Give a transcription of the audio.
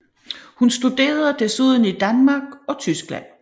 Hun studerede desuden i Danmark og Tyskland